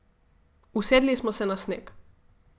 Usedli smo se na sneg.